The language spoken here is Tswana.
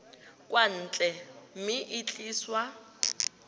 kwa ntle mme e tliswa